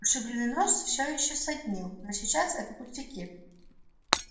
ушибленный нос все ещё саднил но сейчас это пустяки